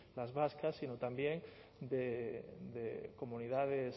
las vascas sino también de comunidades